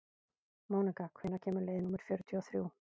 Mónika, hvenær kemur leið númer fjörutíu og þrjú?